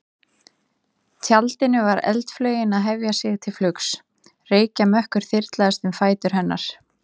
tjaldinu var eldflaugin að hefja sig til flugs, reykjarmökkur þyrlaðist um fætur hennar.